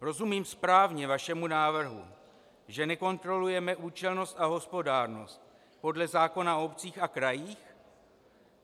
Rozumím správně vašemu návrhu, že nekontrolujeme účelnost a hospodárnost podle zákona o obcích a krajích?